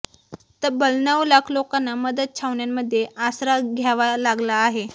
तब्बल नऊ लाख लोकांना मदत छावण्यांमध्ये आसरा घ्यावा लागला आहे